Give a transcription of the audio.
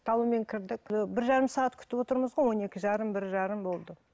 талонмен кірдік і бір жарым сағат күтіп отырмыз ғой он екі жарым бір жарым болды